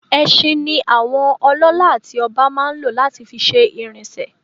Ẹṣin ni àwọn ọlọ́lá àti ọba máa n lo láti fi ṣe ìrìnsè